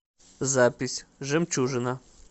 запись жемчужина